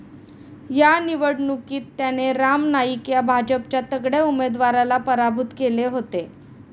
या निवडणूकीत त्याने राम नाईक या भाजपच्या तगड्या उमेदवाराला पराभूत केले होते.